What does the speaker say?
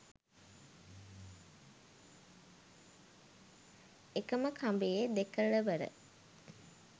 එකම කඹයේ දෙකෙලවර